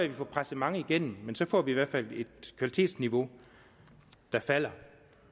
vi får presset mange igennem men så får vi i hvert fald et kvalitetsniveau der falder